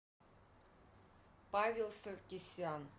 павел саркисян